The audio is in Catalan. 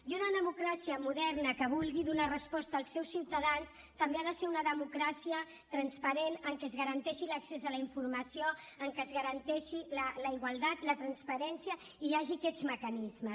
i una democràcia moderna que vulgui donar resposta als seus ciutadans també ha de ser una democràcia transparent en què es garanteixi l’accés a la informació en què es garanteixi la igualtat la transparència i hi hagi aquests mecanismes